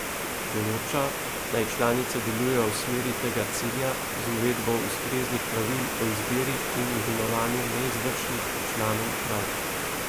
Določa, naj članice delujejo v smeri tega cilja z uvedbo ustreznih pravil o izbiri in imenovanju neizvršnih članov uprav.